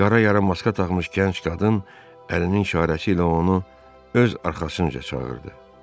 Qara yarımaska taxmış gənc qadın əlinin işarəsi ilə onu öz arxasınca çağırdı.